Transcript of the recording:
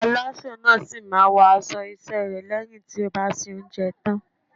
Alásè náà sì máa wọ aṣọ iṣẹ́ rẹ̀ lẹ́yìn tí ó bá soúnjẹ tán.